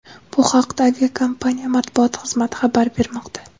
Bu haqda aviakompaniya Matbuot xizmati xabar bermoqda.